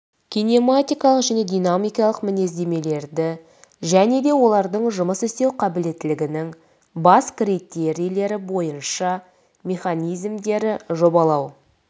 кинематикалық және динамикалық мінездемелерді және де олардың жұмыс істеу қабілеттілігінің бас критерийлері бойынша механизмдері жобалау